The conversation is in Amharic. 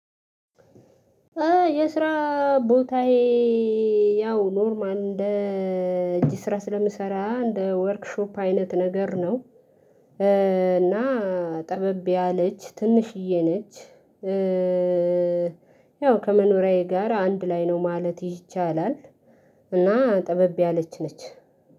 የስራ ቦታዬ ያው ኖርማል እንደ እጅ ስራ ስለምሰራ እንደ ወርክሾፕ አይነት ነገር ነው። እና ጠበብ ያለች ትንሽዬ ነች። ያው ከመኖሪያዬ ጋር አንድ ላይ ነው ማለት ይቻላል። እና ጥበብ ያለች ነች